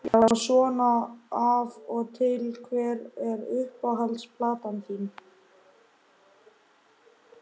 Enda fannst honum það sæmdarheiti að vera verkamaður.